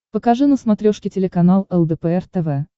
покажи на смотрешке телеканал лдпр тв